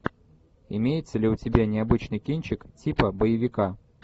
имеется ли у тебя необычный кинчик типа боевика